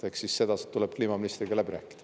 Eks see tuleb siis kliimaministriga läbi rääkida.